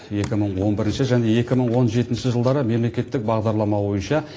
екі мың он бірінші және екі мың он жетінші жылдары мемлекеттік бағдарлама бойынша